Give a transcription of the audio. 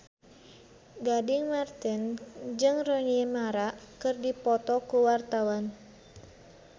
Gading Marten jeung Rooney Mara keur dipoto ku wartawan